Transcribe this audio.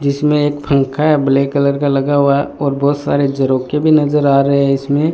जिसमें एक पंखा ब्लैक कलर का लगा हुआ और बहोत सारे झरोखे भी नजर आ रहे हैं इसमें--